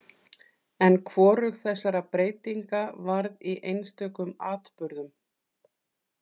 En hvorug þessara breytinga varð í einstökum atburðum.